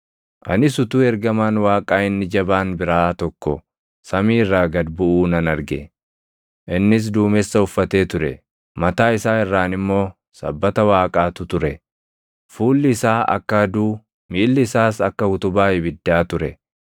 Anis utuu ergamaan Waaqaa inni jabaan biraa tokko samii irraa gad buʼuu nan arge. Innis duumessa uffatee ture; mataa isaa irraan immoo sabbata Waaqaatu ture; fuulli isaa akka aduu, miilli isaas akka utubaa ibiddaa ture.